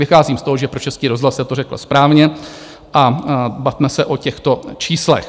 Vycházím z toho, že pro Český rozhlas se to řekl správně, a bavme se o těchto číslech.